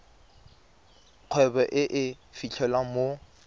kgwebo e e fitlhelwang mo